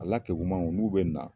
Ala kegumanw olu be na